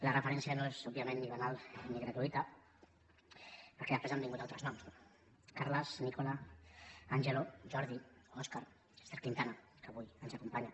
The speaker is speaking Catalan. la referència no és òbviament ni banal ni gratuïta perquè després han vingut altres noms no carles nicola angelo jordi óscar ester quintana que avui ens acompanya